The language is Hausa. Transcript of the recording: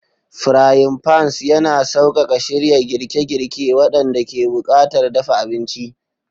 Frying pans yana sauƙaƙa shirya girke-girke waɗanda ke buƙatar dafa abinci.